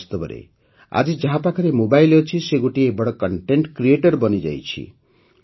ବାସ୍ତବରେ ଆଜି ଯାହାପାଖରେ ମୋବାଇଲ୍ ଅଛି ସେ ଗୋଟିଏ ବଡ଼ କଣ୍ଟେଣ୍ଟ କ୍ରିଏଟର ବନିଯାଇଛି